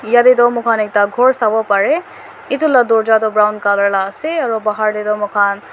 yatae toh mokhan ekta khor sawo parae edu la dorja tu brown colour la ase aro bahar tae toh moikhan--